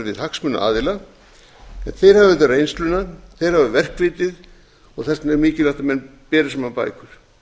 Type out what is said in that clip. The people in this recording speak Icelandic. við hagsmunaaðila en þeir hafa auðvitað reynsluna þeir hafa verksvitið og þess vegna er mikilvægt að menn beri saman bækur